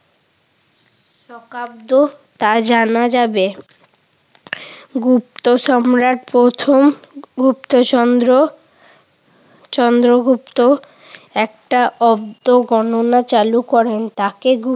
শকাব্দ তা জানা যাবে। গুপ্ত সম্রাট প্রথম গুপ্ত চন্দ্র চন্দ্রগুপ্ত একটা অব্দ গণনা চালু করেন তাকে